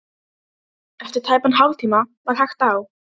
Eftir tæpan hálftíma var hægt á.